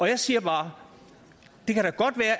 jeg siger bare